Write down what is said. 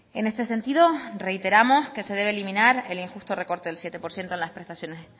en este sentido reiteramos que se debe eliminar el injusto recorte del siete por ciento